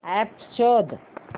app शोध